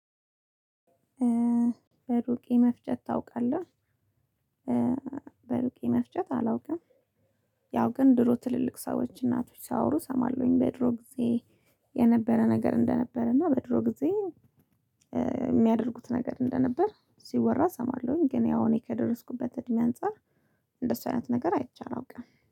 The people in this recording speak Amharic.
በሩቅ የመፍጀት ታውቃለህ በሩቅ የመፍጀት አላውቅም። ያው ግን ድሮ ትልልቅ ሰዎች እናቶች ሲያወሩ እሰማለሁኝ በድሮ ጊዜ የነበረ ነገር እንደነበር። እና በድሮ ጊዜ የሚያደርጉት ነገር እንደነበር ሲወራ እሰማለሁኝ። ግን ያው እኔ ከደረስኩበት እድሜ አንፃር እንደሱ አይነት ነገር አይቻል አላውቅም